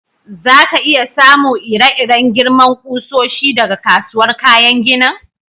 Za ka iya samu ire-iren girman kusoshi daga kasuwar kayan ginin?